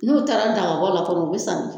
N'u taara dagabɔ la kɔni u bɛ san